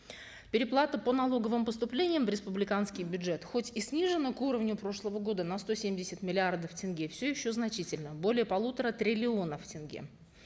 переплата по налоговым поступлениям в республиканский бюджет хоть и снижена к уровню прошлого года на сто семьдесят миллиардов тенге все еще значительна более полутора триллионов тенге